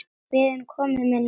Við erum komin með nóg.